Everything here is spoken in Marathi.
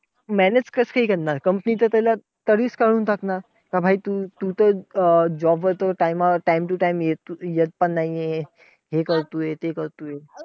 Manage कसंकाय करणार, company तर त्याला तरीच काढून टाकणार. का तू तर job वर time वर time to time तू तर येत पण नाहीये. हे करतोय ते करतोय.